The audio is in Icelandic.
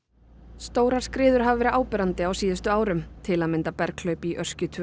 stórar skriður hafa verið áberandi á síðustu árum til að mynda berghlaup í Öskju tvö